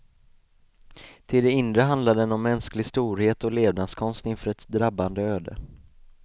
Till det inre handlar den om mänsklig storhet och levnadskonst inför ett drabbande öde.